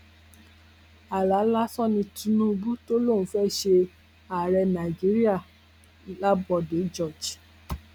àlà lásán ni tinubu tó lóun fẹẹ ṣe ààrẹ nàíjíríà ń lábòde george